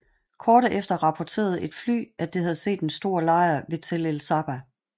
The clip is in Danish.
Kort efter rapporterede et fly at det havde set en stor lejr ved Tel el Saba